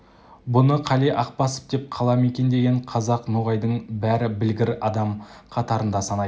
бұны қали ақбасов деп қала мекендеген қазақ ноғайдың бәрі білгір адам қатарында санайтын